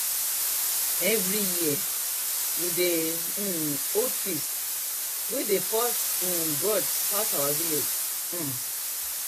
every year we dey um hold feast wen dey first um birds pass our village um